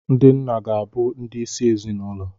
Ndị nna ga-abụ ndị isi ezinụlọ.